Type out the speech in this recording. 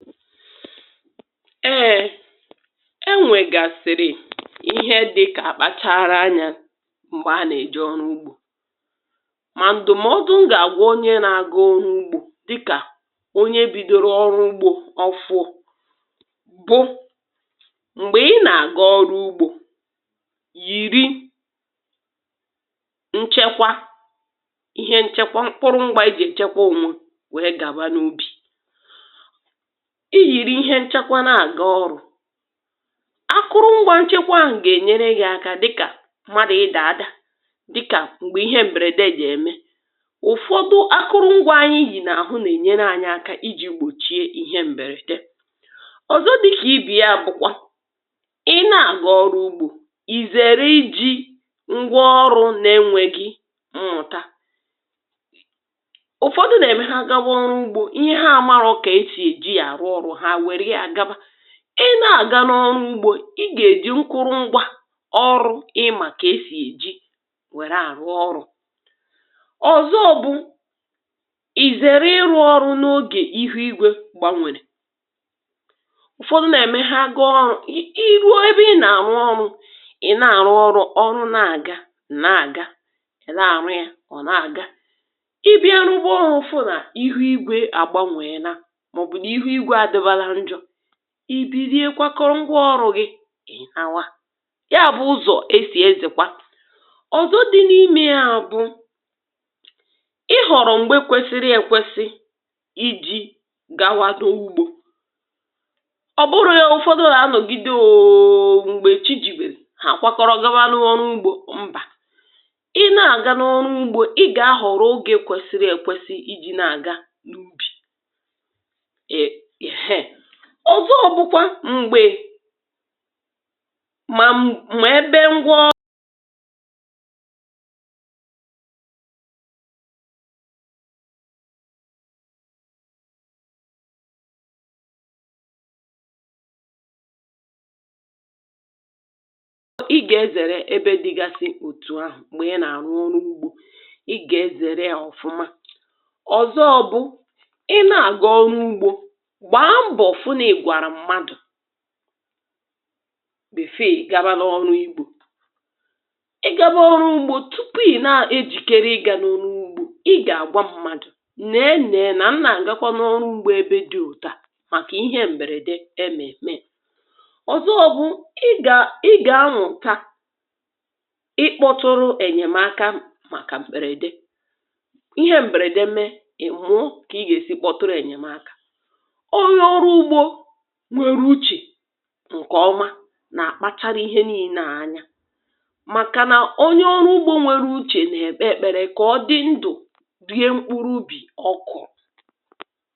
Ee e nwegasịrị ihe ndị ị ga-akpachara anya mgbe a na-eje ọrụ ugbo. Ma ndụmọdụ m ga-agwa onye na-aga ọrụ ugbo dịka onye bidoro ọrụ ugbo ọ́fụụ bụ mgbe ị na-aga ọrụ ugbo, yiri nchekwa ihe nchekwa mkpụrụ mgba e ji echekwa onwe wee gawa n'ubi. I yiri ihe nchekwa na-aga ọrụ, akụrụngwa ihe nchekwa ahụ ga-enyere gị aka dịka mmadụ ịda ada, dịka mgbe ihe mberede je eme. Ụfọdụ ndị akụrụngwa anyị yi n'ahụ na-enyere anyị aka iji gbochie ihe mberede. Ọzọ dị ka 8be ya bụkwa ị na-arụ ọrụ ugbo, ị zere iji ngwáọrụ na-enweghị mmụta. Ụfọdụ na-eme ha gaba ọrụ ugbo ihe ha na-amaghọ ka e si eji ya arụ ọrụ ha e were ya gaba. Ị na-aga n'ọrụ ugbo, ị ga-eji nkụrụngwa ọrụ ị ma ka e si eji were arụ ọrụ. Ọzọ bụ i zere ịrụ ọrụ n'oge ihu igwe gbanwere. Ụfọdụ na-eme ha gaa ọrụ i i ruo ebe ị na-arụ ọrụ, ị na-arụ ọrụ, ọrụ na-aga ị na-aga, ị na-arụ ya ọ na-aga. Ị bịa rụwa ọrụ fụ na ihu igwe a gbanweela maọbụ na ihu igwe adịbala njọ, i bilie kwakọọ ngwaọrụ gị lawa. Ya bụ ụzọ e si ezekwa. Ọzọ dị n'ime ya bụ Ị họrọ mgbe kwesịrị ekwesị iji gawado ugbo. Ọ bụrụ ya ụfọdụ ga-anọgide ooo mgbe chi jibere ja a kwakọrọ gawa rụwa ọrụ ugbo. Ị na-aga n'ọrụ ugbo, ị ga-ahọrọ oge kwesịrị ekwesị iji na-aga n'ubi. E ehe ọzọ bụkwa mgbe ma n ma ebe ngwaọ. Ị ga-ezere ebe dịgasị otu ahụ mgbe ị na-arụ ọrụ ugbo. Ị ga-ezere ya ọfụma. Ọzọ ọ bụ, ị na-aga ọrụ ugbo gbaa mbọ fụ na ị gwara mmadụ before ị gaba n'ọrụ ugbo. Ị gaba n'ọrụ ugbo tupu ị na-ejolikere ịga n'ọnụ ugbo. Ị ga-agwa mmadụ nee nee na m na-gakwa n'ọrụ ugbo ebe dị otú a maka ihe mberede e mee mee. Ọzọ bụ ị ga ị ga-amụta ịkpọtụrụ enyemaka maka mberede. Ihe mberede mee, ị mụụ ka ị ga-esi kpọtụrụ enyemaka. Onye ọrụ ugbo nwere uche nke ọma na-akpachara ihe niile a anya makana onye ọrụ ugbo nwere uche na-ekpe ekpere ka ọ dị ndụ rie mkpụrụ ubì ọ kụrụ.